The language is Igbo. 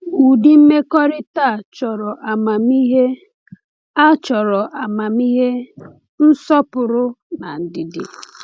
Ụdị mmekọrịta a chọrọ amamihe, a chọrọ amamihe, nsọpụrụ, na ndidi.”